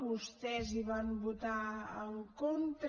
vostès hi van votar en contra